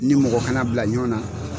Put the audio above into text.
Ni mɔgɔ kana bila ɲɔgɔn na.